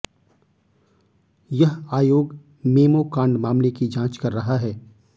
यह आयोग मेमो कांड मामले की जांच कर रहा है